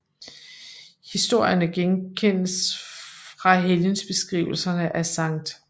Historierne genkendes fra helgenbeskrivelserne af Skt